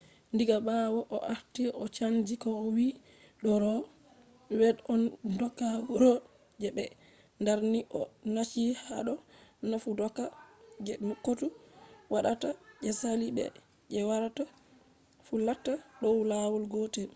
diga ɓawo o warti o chanji ko o wi do ro v. wed on doka wuro je ɓe darni” o nachi hado nafu doka je kotu waɗata je sali be je warata fu latta dow lawol gotel